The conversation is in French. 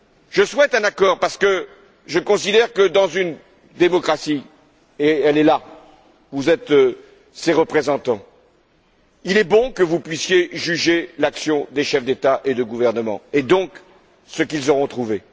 Je souhaite un accord parce que je considère que, dans une démocratie et elle est là, vous êtes ses représentants il est bon que vous puissiez juger l'action des chefs d'État et de gouvernement et donc, ce qu'ils auront trouvé.